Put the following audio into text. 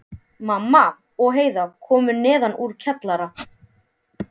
Mamma og Heiða komu neðan úr kjallara.